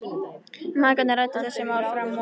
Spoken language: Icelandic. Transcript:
Mæðgurnar ræddu þessi mál fram og aftur.